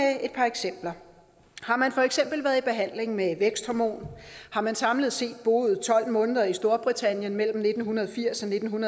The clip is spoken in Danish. et par eksempler har man for eksempel været i behandling med et væksthormon har man samlet set boet tolv måneder i storbritannien mellem nitten firs og nitten